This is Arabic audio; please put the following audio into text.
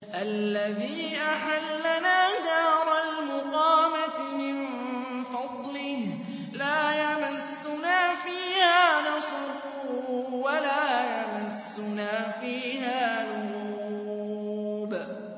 الَّذِي أَحَلَّنَا دَارَ الْمُقَامَةِ مِن فَضْلِهِ لَا يَمَسُّنَا فِيهَا نَصَبٌ وَلَا يَمَسُّنَا فِيهَا لُغُوبٌ